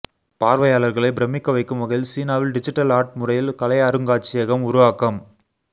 பார்வையாளர்களை பிரமிக்க வைக்கும் வகையில் சீனாவில் டிஜிட்டல் ஆர்ட் முறையில் கலை அருங்காட்சியகம் உருவாக்கம்